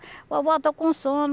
Vovó, estou com sono.